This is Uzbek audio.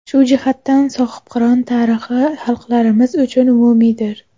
Shu jihatdan, Sohibqiron tarixi xalqlarimiz uchun umumiydir”.